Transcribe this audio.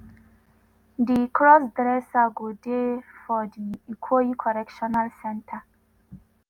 di crossdresser go dey for di ikoyi correctional centre.